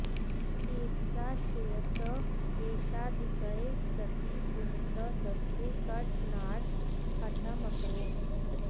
एकदा शिरसः केशाधिक्ये सति पुनितः तस्य कर्तनार्थं हठम् अकरोत्